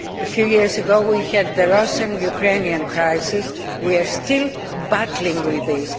A few years ago we had the Russian Ukrainian crisis, and we are still battling with that.